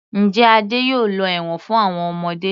Njẹ́ Adé yóò lọ ẹ̀wọ̀n fún àwọn ọmọdé.